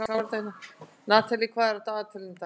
Natalie, hvað er á dagatalinu í dag?